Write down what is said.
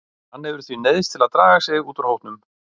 Hann hefur því neyðst til að draga sig út úr hópnum.